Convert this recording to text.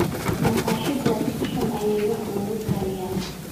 Maqaxidaas si xun ayeey wax ugu kariyaan